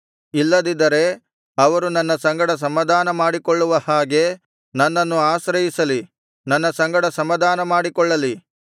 ಇಲ್ಲದಿದ್ದರೆ ಅವರು ನನ್ನ ಸಂಗಡ ಸಮಾಧಾನ ಮಾಡಿಕೊಳ್ಳುವ ಹಾಗೆ ನನ್ನನ್ನು ಆಶ್ರಯಿಸಲಿ ನನ್ನ ಸಂಗಡ ಸಮಾಧಾನ ಮಾಡಿಕೊಳ್ಳಲಿ